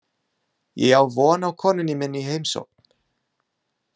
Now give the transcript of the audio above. Ég á von á konunni minni í heimsókn.